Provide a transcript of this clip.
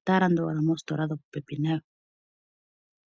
otaa landa owala moositola dhopopepi nayo.